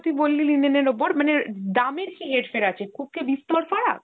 তুই বললি linen এর ওপর মানে দামের কী হের-ফের আছে, খুব কী বিস্তর ফারাক?